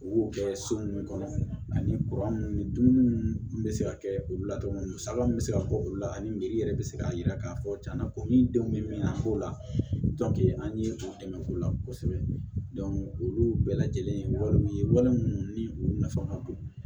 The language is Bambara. U b'o kɛ so ninnu kɔnɔ ani kuran minnu ni dumuni bɛ se ka kɛ olu la cogo min na musaka minnu bɛ se ka bɔ olu la ani miri yɛrɛ bɛ se k'a yira k'a fɔ cɛna ko ni denw bɛ min na k'o la an ye o dɛmɛ k'o la kosɛbɛ olu bɛɛ lajɛlen walew ye wali munnu ni u nafa ka bon